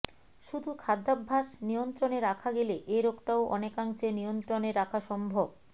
শুধু খাদ্যাভ্যাস নিয়ন্ত্রণে রাখা গেলে এ রোগটাও অনেকাংশে নিয়ন্ত্রণে রাখা সম্ভব